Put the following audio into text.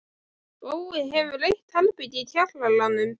Bói hefur eitt herbergi í kjallaranum.